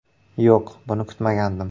– Yo‘q, buni kutmagandim.